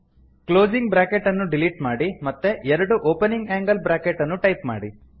closing bracket ಅನ್ನು delete ಮಾಡಿ ಮತ್ತೆ ಎರಡು ಒಪನಿಂಗ್ ಆಂಗಲ್ ಬ್ರಾಕೆಟ್ ಅನ್ನು ಟೈಪ್ ಮಾಡಿ